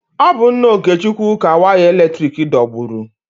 Ọ bụ nna Okechukwu ka waya eletrik dọgburu.